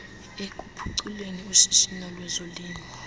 ekuphuculeni ushishino lwezolimo